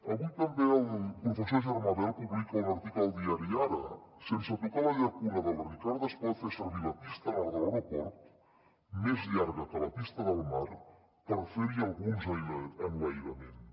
avui també el professor germà bel publica un article al diari ara sense tocar la llacuna de la ricarda es pot fer servir la pista nord de l’aeroport més llarga que la pista del mar per fer hi alguns enlairaments